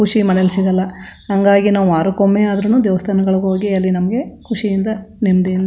ಖುಷಿ ಮನೆಯಲ್ಲಿ ಸಿಗಲ್ಲಾ ಹಂಗಾಗಿ ನಾವು ವಾರಕೊಮ್ಮೆ ಆದ್ರುನು ದೇವಸ್ಥಾನಗಳಿಗೆ ಹೋಗಿ ಅಲ್ಲಿ ನಮ್ಮಗೆ ಖುಷಿಯಿಂದ ನೆಮ್ಮದಿ --